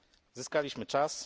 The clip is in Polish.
Zyskaliśmy czas.